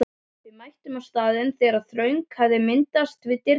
Við mættum á staðinn þegar þröng hafði myndast við dyrnar.